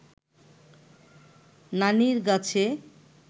নানির গাছে